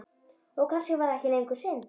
Og kannski var það ekki lengur synd.